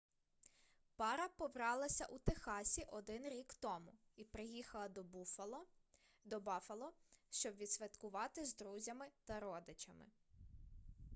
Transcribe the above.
пара побралася у техасі один рік тому і приїхала до баффало щоб відсвяткувати з друзями та родичами